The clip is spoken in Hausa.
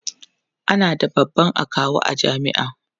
ana da babban akawu a jami'a